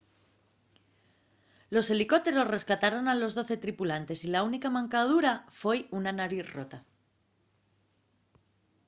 los helicópteros rescataron a los doce tripulantes y la única mancadura foi una nariz rota